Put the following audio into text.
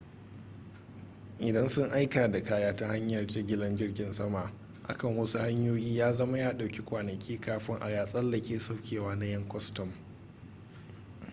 idan sun aika da kaya ta hanyar jigilar jirgin sama akan wasu hanyoyi ya zama ya dauki kwanaki kafin a ya tsallake saukewa na 'yan kwastam